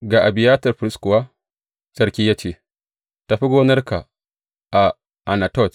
Ga Abiyatar firist kuwa sarki ya ce, Tafi gonarka a Anatot.